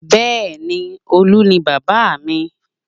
Bẹẹ ni, Olu ni bábà mi